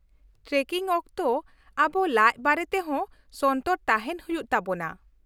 Trekking ᱚᱠᱛᱚ ᱟᱵᱚ ᱞᱟᱡᱽ ᱵᱟᱨᱮᱛᱮ ᱦᱚᱸ ᱥᱚᱱᱛᱚᱨ ᱛᱟᱦᱮᱱ ᱦᱩᱭᱩᱜ ᱛᱟᱵᱚᱱᱟ ᱾